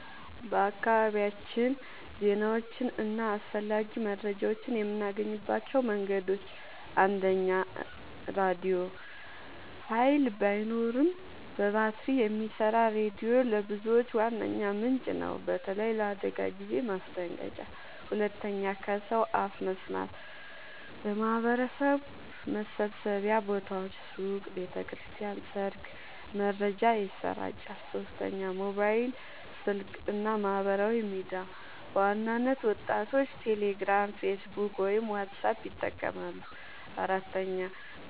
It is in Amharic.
በአካባቢያችን ዜናዎችን እና አስፈላጊ መረጃዎችን የምናገኝባቸው መንገዶች፦ 1. ራድዮ – ኃይል ባይኖርም በባትሪ የሚሰራ ሬዲዮ ለብዙዎች ዋነኛ ምንጭ ነው፣ በተለይ ለአደጋ ጊዜ ማስጠንቀቂያ። 2. ከሰው አፍ መስማት – በማህበረሰብ መሰብሰቢያ ቦታዎች (ሱቅ፣ ቤተ ክርስቲያን፣ ሰርግ) መረጃ ይሰራጫል። 3. ሞባይል ስልክ እና ማህበራዊ ሚዲያ – በዋናነት ወጣቶች ቴሌግራም፣ ፌስቡክ ወይም ዋትስአፕ ይጠቀማሉ። 4.